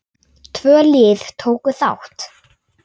Tvö lið tóku þátt.